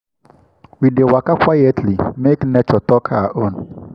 we dey waka quietly make nature talk her own.